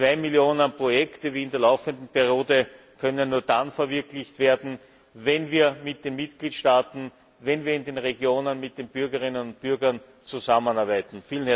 Zwei Millionen Projekte, wie in der laufenden Periode, können nur dann verwirklicht werden, wenn wir mit den Mitgliedstaaten, wenn wir in den Regionen mit den Bürgerinnen und Bürgern zusammenarbeiten.